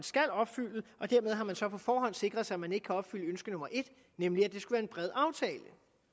skal opfylde og dermed har man så på forhånd sikret sig at man ikke kan opfylde ønske nummer et nemlig at det skulle være en bred aftale